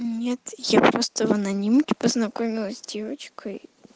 нет я просто в анонимке познакомилась с девочкой